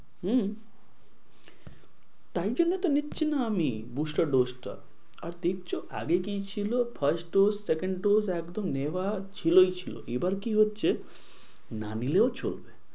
হম তাই জন্য তো নিচ্ছি না আমি booster dose টা। আর দেখছো আগে কি ছিল first dose second dose একদম নেয়ার ছিলই ছিল। এবার কি হচ্ছে, না নিলেও চলবে।